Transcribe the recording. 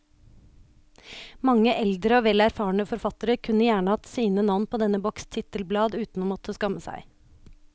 Mange eldre og vel erfarne forfattere kunne gjerne hatt sine navn på denne boks titelblad uten å måtte skamme seg.